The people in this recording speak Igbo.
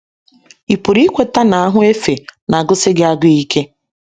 Ị pụrụ ikweta na ahụ efe na - agụsi gị agụụ ike.